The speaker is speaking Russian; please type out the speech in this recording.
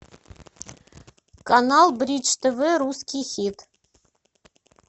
канал бридж тв русский хит